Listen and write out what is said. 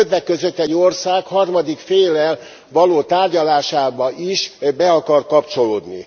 Többek között egy ország harmadik féllel való tárgyalásába is be akar kapcsolódni.